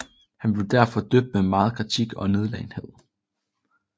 Han blev derfor mødt med megen kritik og nedladenhed